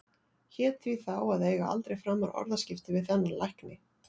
Hét því þá að eiga aldrei framar orðaskipti við þennan lækni.